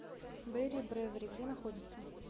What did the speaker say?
бэрри брэвэри где находится